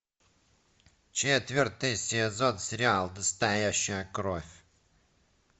четвертый сезон сериал настоящая кровь